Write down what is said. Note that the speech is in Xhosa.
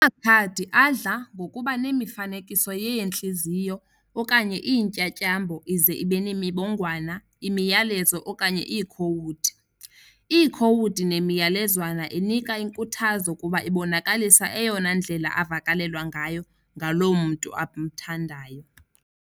Amakhadi adla ngokuba nemifanekiso yeentliziyo okanye iintyatyambo ize ibenemibongwana, mimiyalezo, okanye iikhowudi. Iikhowudi nemiyalezwana inika inkuthazo kuba ibonakalisa eyona ndlela avakalelwa ngayo ngaloo mntu amthandayo.